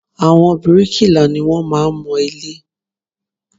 Àwọn bíríkìlà ni wọ́n máa ń mọ ilé